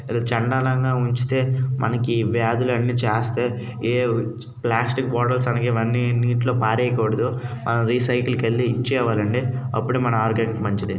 ఇంత చండాలంగా ఉంచితే మనకి వ్యాధులన్నీ చేస్తాయి. హా ప్లాస్టిక్ బాటిల్స్ అలాగే ఇవన్నీ నీటిలో పారేయకూడదు మనం రీసైకిల్ కెళ్ళి ఇచ్చి రావాలండి అప్పుడే మన ఆరోగ్యానికి మంచిది.